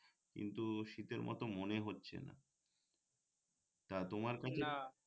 কিন্ত শীতের মত মনে হচ্ছে না তা তোমার কাছে